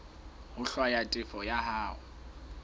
ho hlwaya tefo ya hao